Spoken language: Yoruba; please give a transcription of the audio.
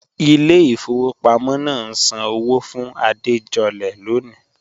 Ìlẹ̀ ifọwọ̀ pàmọ̀ náà ǹ sàn ọwọ́ fún Àdéjọ̀lẹ̀ lọ́ní